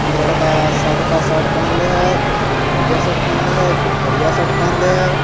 एक लड़का सादका शर्ट पहन ले है एक ठो गुलबिया शर्ट पहन ले है एक ठो करिया शर्ट पहन ले है।